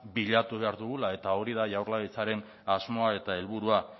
bilatu behar dugula eta hori da jaurlaritzaren asmoa eta helburua